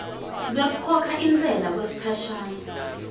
lwekukhokha intsela yesikhashana